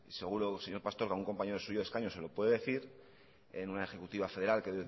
seguro señor pastor que algún compañero suyo de escaño se lo puede decir en una ejecutiva federal que